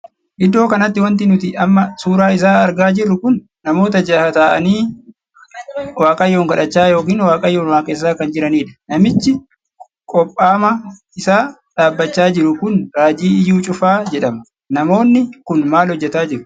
Iddoo kanatti wanti nuti amma suuraa isaa argaa jirru kun namoota jaha taa'anii Waaqayyoon kadhachaa ykn Waaqayyoon waaqessaa kan jiraniidha. namichi qophaa'ama isaa dhaabbachaa jiru kun Raajii Iyyuu Cufaa jedhama. namoonni Kun maal hojjetaa jiru?